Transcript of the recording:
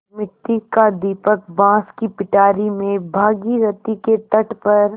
मिट्टी का दीपक बाँस की पिटारी में भागीरथी के तट पर